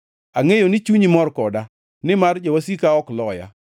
Angʼeyo ni chunyi mor koda, nimar jowasika ok loya.